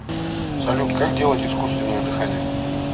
салют как делать искусственное дыхание